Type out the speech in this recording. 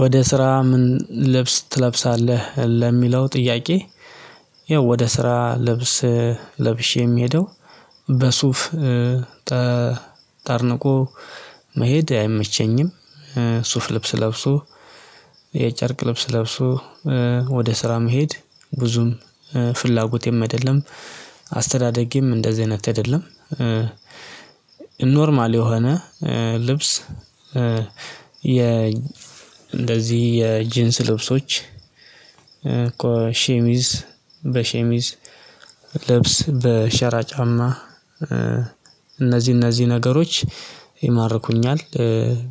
ወደ ስራ ምን ልብስ ትለብሳለህ ለሚለው ጥያቄ? ወደ ስራ ልብስ ለብሼ የምሄደው በሱፍ ተጣርንቆ መሄድ አይመቸኝም። ሱፍ ልብስ ለብሶ የጨርቅ ልብስ ለብሶ ወደ ስራ መሄድ ብዙም ፍላጎቴም አይደለም። አስተዳደገም እንደዚህ አይነት አይደለም ኖርማል የሆነ ልብስ የ እንደዚህ የጅንስ ልብሶች እኮ ሸሚዝ በሸሚዝ ልብስ በሸራ ጫማ እነዚህ እነዚህ ነገሮች ይማርኩኛል።